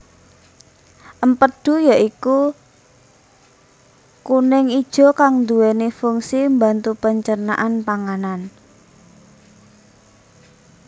Empedhu ya iku kuning ijo kang nduweni funsi mbantu pencernaan panganan